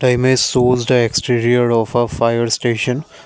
the image shows the exterior of a fire station.